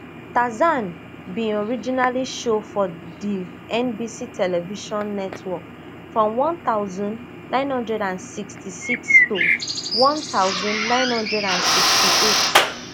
tarzan bin originally show for di nbc television network from one thousand, nine hundred and sixty-six to one thousand, nine hundred and sixty-eight